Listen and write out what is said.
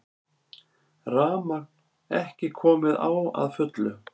Rafmagn ekki komið á að fullu